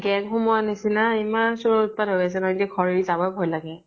gang সোমোৱা নিছিনা ইমান চুৰৰ উৎপাত হৈ আছে হৈ আছে নহয় এতিয়া ঘৰ এৰি যাব্ই ভয় লগে।